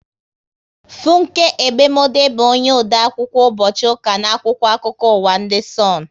Funke Egbemode bụ onye ode akwụkwọ ụbọchị ụka n' akwụkwọ akụkọ ụwa ndị Sonu